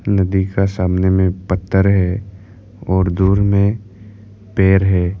नदी का सामने में पत्थर है और दूर में पेर है।